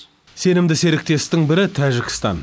сенімді серіктестің бірі тәжікстан